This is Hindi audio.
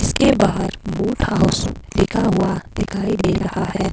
इसके बाहर लिखा हुआ दिखाई दे रहा है।